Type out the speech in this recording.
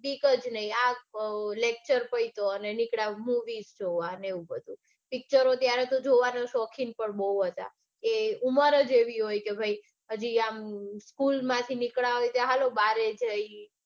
બીક જ નઈ આ lecture અને નીકળ્યા મુવી જોવા ને એવું બધું. પિક્ચરો ત્યારે જોવાના શોખીન પણ બઉ હતા કે ઉભા રો જેવી હોય કે ભાઈ school માંથી નીકળ્યા હોય કે જઇયે.